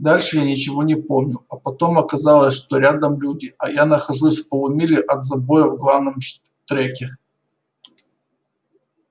дальше я ничего не помню а потом оказалось что рядом люди а я нахожусь в полумиле от забоя в главном штреке